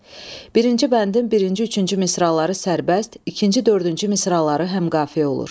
Birinci bəndin birinci üçüncü misraları sərbəst, ikinci dördüncü misraları həmqafiyə olur.